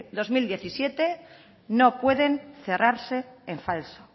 dos mil diecisiete no pueden cerrarse en falso